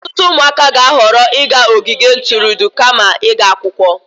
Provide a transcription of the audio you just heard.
Ọtụtụ ụmụaka ga-ahọrọ ịga ogige ntụrụndụ kama ịga akwụkwọ.